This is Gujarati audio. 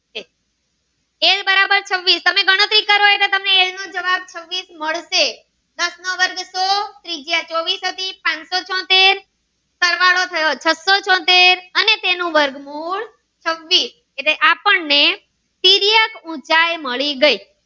જવાબ છવ્વીસ મળશે દાસ નો વર્ગ સો ત્રિજ્યા ચોવીસ હતી પાંચો ચોતેર સરવાળો થયો છસો ચોતેર અને તેનું વર્ગ મૂળ છવ્વીસ અને આ પણ એ તિર્યક ઉંચાઈ મળી ગઈ